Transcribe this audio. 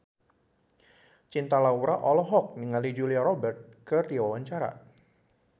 Cinta Laura olohok ningali Julia Robert keur diwawancara